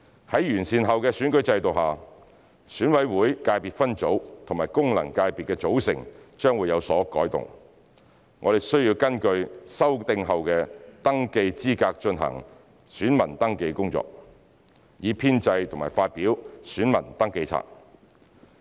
在完善後的選舉制度下，選委會界別分組和功能界別的組成將會有所改動，我們需要根據修訂後的登記資格進行選民登記工作，以編製和發表選民登記冊。